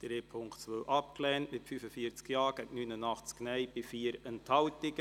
Sie haben den Punkt 2 abgelehnt mit 45 Ja- gegen 89 Nein-Stimmen bei 4 Enthaltungen.